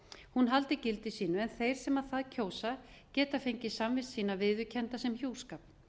hún haldi gildi sínu en þeir sem það kjósa geta fengið samvist sína viðurkennda sem hjúskap